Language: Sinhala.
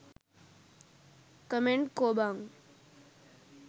කමෙන්ට් කෝ බං?